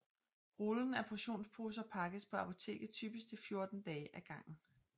Rullen af portionsposer pakkes på apoteket typisk til 14 dage af gangen